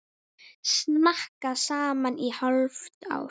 Snakka saman í hálft ár.